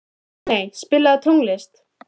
Steiney, spilaðu tónlist.